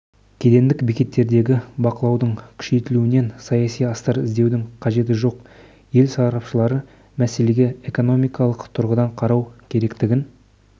кедендік бекеттердегі бақылаудың күшейтілуінен саяси астар іздеудің қажеті жоқ ел сарапшылары мәселеге экономикалық тұрғыдан қарау керектігін